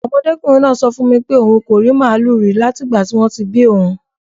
Ọmọdékùnrin náà sọ fún mi pé òun kò rí màlúù rí láti ìgbà tí wọ́n ti bí òun